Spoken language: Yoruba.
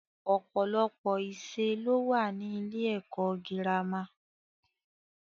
Ọ̀pọ̀lọpọ̀ ìṣe ló wà ní ilé-ẹ̀kọ́ girama.